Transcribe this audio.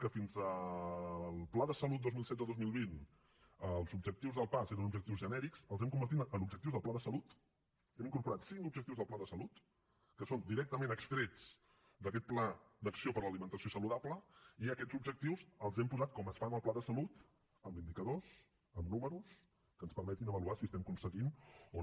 que fins al pla de salut dos mil setze dos mil vint els objectius del paas eren objectius genèrics els hem convertit en objectius del pla de salut hem incorporat cinc objectius del pla de salut que són directament extrets d’aquest pla d’acció per a l’alimentació saludable i aquests objectius els hem posat com es fa en el pla de salut amb indicadors amb números que ens permetin avaluar si estem aconseguint o no